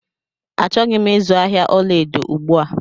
Achọghị m izu ahịa ọla edo ugbu a